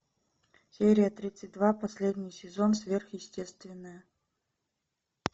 серия тридцать два последний сезон сверхъестественное